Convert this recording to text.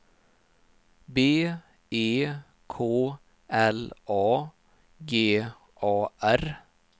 B E K L A G A R